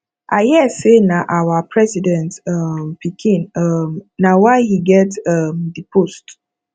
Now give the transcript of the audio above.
i hear say nah our president um pikin um nah why he get um the post